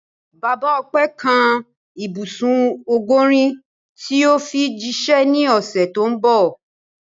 Bàbá Ọpẹ́ kan ibùsùn ọgọ́rin tí yóò fi jíṣẹ́ ní ọ̀sẹ̀ tó ń bọ̀.